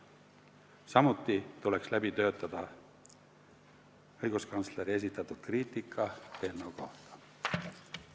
Samuti tuleks läbi töötada õiguskantsleri esitatud kriitika eelnõu kohta.